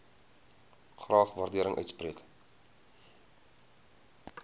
graag waardering uitspreek